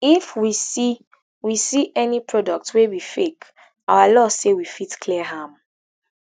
if we see we see any product wey be fake our law say we fit clear am